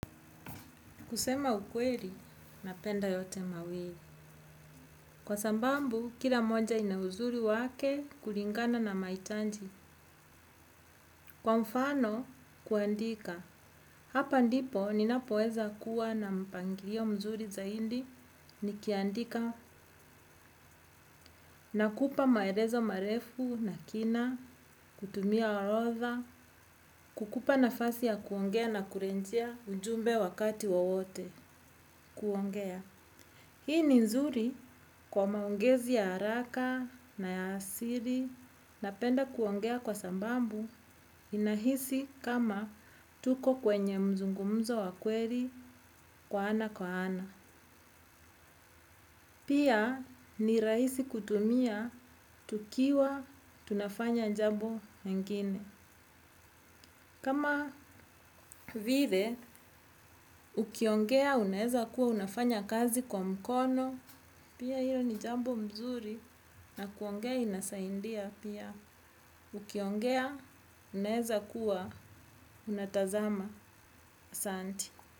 Kusema ukweli, napenda yote mawili. Kwa sambambu, kila moja ina uzuri wake kulingana na maitanji. Kwa mfano, kuandika. Hapa ndipo, ninapoweza kuwa na mpangilio mzuri zaindi. Nikiandika nakupa maelezo marefu na kina, kutumia arotha, kukupa nafasi ya kuongea na kurejia ujumbe wakati wowote kuongea. Hii ni nzuri kwa maongezi ya haraka na ya siri napenda kuongea kwa sambambu ninahisi kama tuko kwenye mzungumzo wa kweli kwa ana kwa ana. Pia ni raaisi kutumia tukiwa tunafanya jambo ingine. Kama vile, ukiongea unaezakuwa unafanya kazi kwa mkono, pia hilo ni jambo mzuri, na kuongea inasaindia pia. Ukiongea unaezakuwa unatazama asanti.